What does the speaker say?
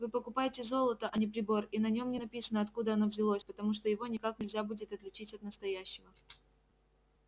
вы покупаете золото а не прибор и на нём не написано откуда оно взялось потому что его никак нельзя будет отличить от настоящего